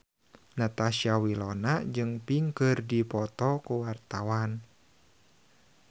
Natasha Wilona jeung Pink keur dipoto ku wartawan